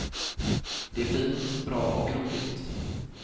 Det är fint, bra och roligt.